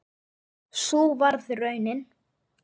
Sú varð raunin.